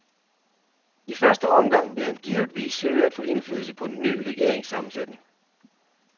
I første omgang vil han givetvis søge at få indflydelse på den ny regerings sammensætning.